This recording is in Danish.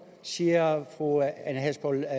siger fru ane halsboe